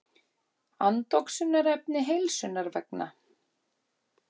Andoxunarefni heilsunnar vegna.